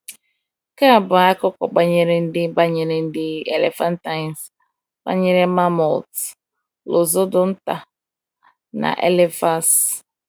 Nke a bụ akụkọ banyere ndị banyere ndị elephantines: banyere mammoths, Loxodonta na Elephas.